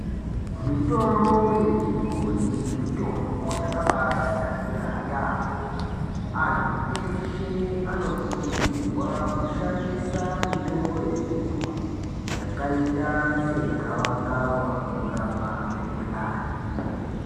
Mitombo yechibhoyi mitombo yakabaatinakira yaamhpo, anthu eshe anokuridzirwa kushandisa mitombo yechibhoyi yakaita segavakava kurapa mikhuhlani.